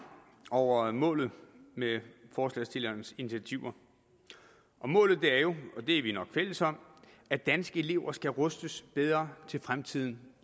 over målet med forslagsstillernes initiativer og målet er jo og det er vi nok fælles om at danske elever skal rustes bedre til fremtiden